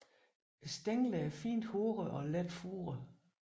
Stænglerne er fint hårede og let furede